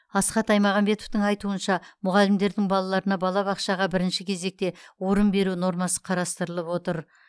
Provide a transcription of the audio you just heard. асхат аймағамбетовтың айтуынша мұғалімдердің балаларына балабақшаға бірінші кезекте орын беру нормасы қарастырылып отыр